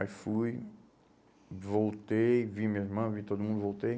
Aí fui, voltei, vi minha irmã, vi todo mundo, voltei.